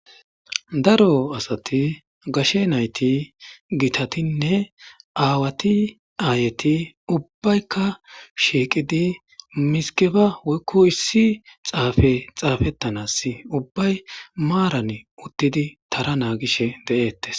Daro asathi gashe na7ithi githathinne aawathi aayethi ubbaykka shiiqidi mizggebaa issi xaafee xaafeththanaassi ubbay maarani uththidi tara naaagishee de7eeththes.